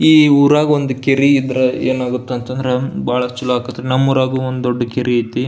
ಈ ಉರಗ ಒಂದ್ ಕೆರಿ ಇದ್ರ ಏನಾಗುತ್ತೆ ಅಂತ ಅಂದ್ರ ಬಹಳ ಚಲೋ ಆಗತೈತಿ ನಮ್ ಊರಾಗೂ ಒಂದ್ ದೊಡ್ಡ ಕೆರಿ ಅಯ್ತಿ.